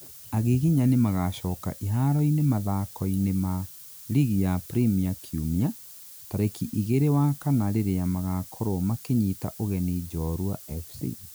agiginyani magacoka iharo-inĩ mathako-inĩ ma ligi ya premia kiũmia, tarĩki igĩrĩ wa kana rĩrĩa magakorwo makĩnyita ũgeni Njorua FC